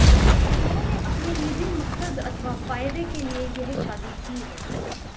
उन्होंने अपने निजी मकसद अथवा फायदे के लिए यह शादी की है